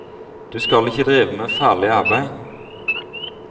Du skal ikke drive med farlig arbeid.